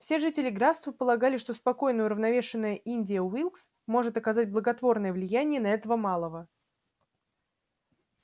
все жители графства полагали что спокойная уравновешенная индия уилкс может оказать благотворное влияние на этого малого